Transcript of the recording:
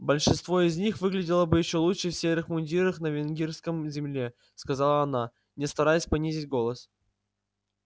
большинство из них выглядело бы ещё лучше в серых мундирах на виргинском земле сказала она не стараясь понизить голос